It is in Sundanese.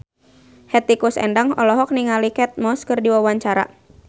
Hetty Koes Endang olohok ningali Kate Moss keur diwawancara